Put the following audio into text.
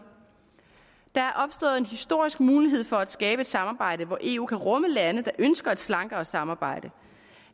der er opstået en historisk mulighed for at skabe et samarbejde hvor eu kan rumme lande der ønsker et slankere samarbejde